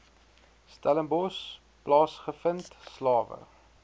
stellenbosch plaasgevind slawe